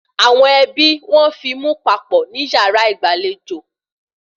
Àwọn ẹbí wo fíìmù papọ̀ ní yàrá ìgbàlejò